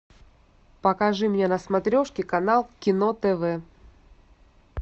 покажи мне на смотрешке канал кино тв